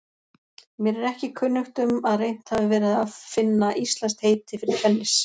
Mér er ekki kunnugt um að reynt hafi verið að finna íslenskt heiti fyrir tennis.